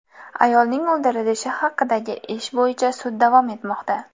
Ayolning o‘ldirilishi haqidagi ish bo‘yicha sud davom etmoqda.